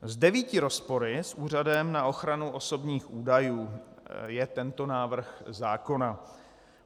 S devíti rozpory s Úřadem na ochranu osobních údajů je tento návrh zákona.